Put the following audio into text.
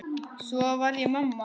Svo varð ég mamma.